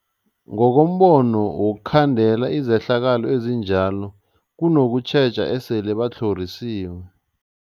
Ngokombono wokhandela izehlakalo ezinjalo kunokutjheja esele batlhorisiwe.